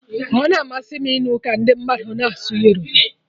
Ọ na-amasị m ịnụ ka ndi mmadụ na asụ Yoruba